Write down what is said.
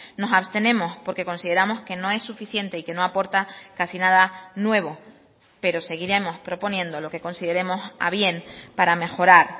nos abstenemos porque consideramos que no es suficiente y que no aporta casi nada nuevo pero seguiremos proponiendo lo que consideremos a bien para mejorar